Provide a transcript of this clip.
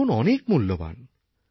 জীবন অনেক মূল্যবান